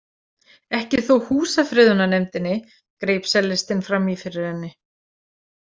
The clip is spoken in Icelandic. Ekki þó Húsafriðurnarnefndinni, greip sellistinn fram í fyrir henni.